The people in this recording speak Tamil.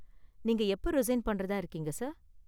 நீங்க எப்ப ரிசைன் பண்றதா இருக்கீங்க சார்?